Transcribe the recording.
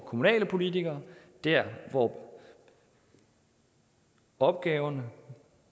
kommunale politikere der hvor opgaverne